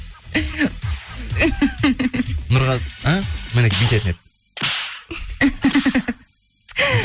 нұрғазы і міне бүйтетін еді